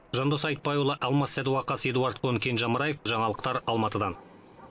жандос айтбайұлы алмас сәдуақас эдуард кон кенже амраев жаңалықтар алматыдан